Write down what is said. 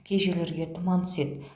кей жерлерге тұман түседі